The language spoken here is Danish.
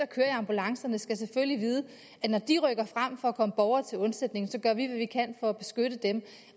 kører i ambulancerne skal selvfølgelig vide at når de rykker frem for at komme borgere til undsætning gør vi hvad vi kan for at beskytte dem